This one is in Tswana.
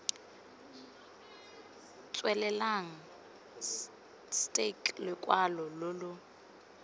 tswelelang stke lokwalo lo lo